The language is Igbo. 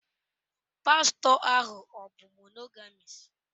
Pastọ ahụ ọ̀ bụ monogamis?